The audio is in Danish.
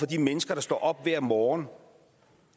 de mennesker der står op hver morgen